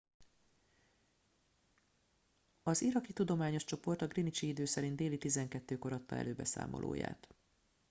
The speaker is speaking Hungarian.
az iraki tudományos csoport a greenwichi idő szerint déli 12 kor adta elő beszámolóját